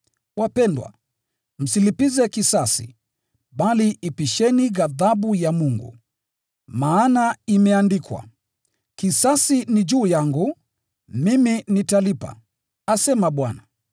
Wapendwa, msilipize kisasi, bali ipisheni ghadhabu ya Mungu, maana imeandikwa: “Ni juu yangu kulipiza kisasi, nitalipiza,” asema Bwana.